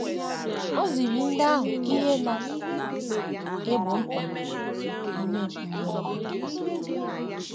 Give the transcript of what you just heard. Ọ ziri ndị ahụ ihe, na - egbo mkpa ime mmụọ ha.